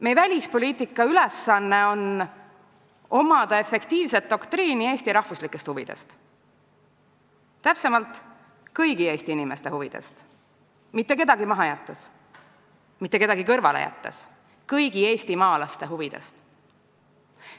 Meie välispoliitika ülesanne on omada efektiivset doktriini Eesti rahvuslikest huvidest, täpsemalt kõigi Eesti inimeste huvidest, mitte kedagi kõrvale jättes, kõigi eestimaalaste huvidest.